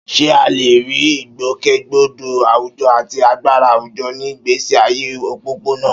Ṣé a lè rí ìgbòkègbodò àwùjọ àti agbára àwùjọ ní ìgbésí ayé òpópónà?